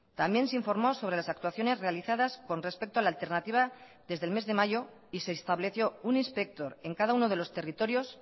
también se informó sobre las actuaciones realizadas con respecto a la alternativa desde el mes de mayo y se estableció un inspector en cada uno de los territorios